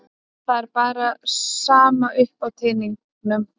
Það er bara sama upp á teningnum.